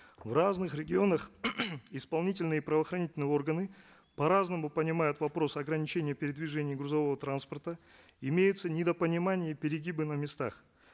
в разных регионах исполнительные правоохранительные органы по разному понимают вопрос ограничения передвижения грузового транспорта имеются недопонимание и перегибы на местах